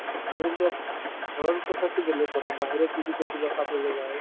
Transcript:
ধৰিলওক ঘৰৰ কথাতো বেলেগ কথা বাহিৰত যদি কৰবাত খাবলৈ যায়